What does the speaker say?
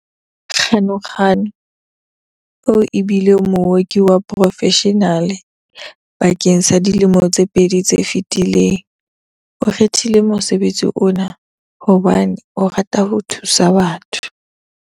Ganuganu, eo e bileng mooki wa porofeshenale bakeng sa dilemo tse pedi tse fetileng, o kgethile mosebetsi ona hobane o rata ho thusa batho.